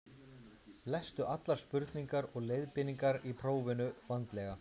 Lestu allar spurningar og leiðbeiningar í prófinu vandlega.